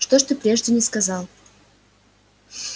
что ж ты прежде не сказал